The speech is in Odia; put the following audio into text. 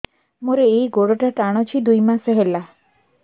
ମୋର ଏଇ ଗୋଡ଼ଟା ଟାଣୁଛି ଦୁଇ ମାସ ହେଲା